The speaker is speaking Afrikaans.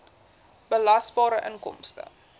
belasbare inkomste